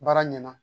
Baara ɲɛna